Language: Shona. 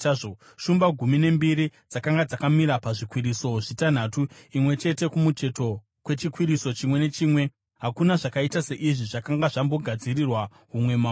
Shumba gumi nembiri dzakanga dzakamira pazvikwiriso zvitanhatu, imwe chete kumucheto kwechikwiriso chimwe nechimwe. Hakuna zvakaita seizvi zvakanga zvambogadzirirwa humwe umambo.